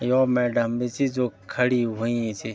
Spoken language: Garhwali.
यौ मैडम भी छी जो खड़ी हुईं छी।